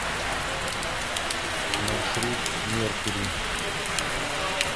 маршрут меркури